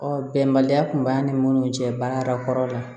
Ɔ bɛnbaliya kun b'a ni minnu cɛ baara kɔrɔ la